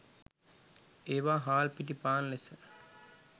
ඒවා හාල් පිටි පාන් ලෙස